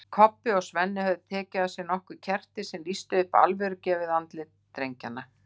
Kobbi og Svenni höfðu tekið með sér nokkur kerti sem lýstu upp alvörugefin andlit drengjanna.